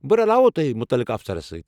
بہٕ رلاوووٕ توہہِ مُتعلقہٕ افسرس سۭتۍ ۔